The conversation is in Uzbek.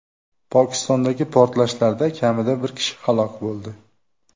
Pokistondagi portlashlarda kamida bir kishi halok bo‘ldi.